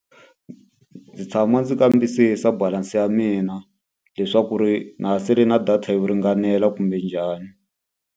Ndzi tshama ndzi kambisisa balance ya mina leswaku ri na ha sale na data yo ringanela kumbe njhani.